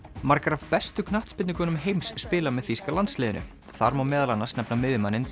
margar af bestu heims spila með þýska landsliðinu þar má meðal annars nefna miðjumanninn